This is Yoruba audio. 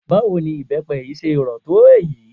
Báwo ni ibepe yìí ṣe rò tó èyí?